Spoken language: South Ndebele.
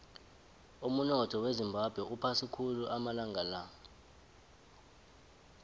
umunotho wezimbabwe uphasi khulu amalanga la